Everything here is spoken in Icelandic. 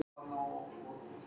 Þorri, áttu tyggjó?